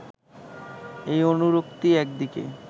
এই অনুরক্তি একদিকে